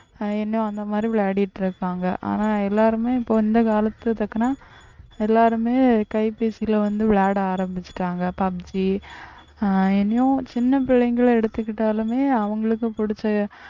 இன்னும் அந்த மாதிரி விளையாடிட்டு இருக்காங்க, ஆனா எல்லாருமே இப்போ இந்த காலத்துக்கு தக்கன எல்லாருமே கைபேசியிலே வந்து விளையாட ஆரம்பிச்சுட்டாங்க PUBG ஆஹ் இனியும் சின்ன பிள்ளைங்களை எடுத்துக்கிட்டாலுமே அவங்களுக்கு பிடிச்ச